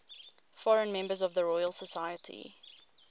foreign members of the royal society